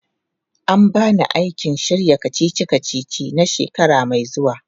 An ba ni aikin shirya kacici-kacici na shekara mai zuwa.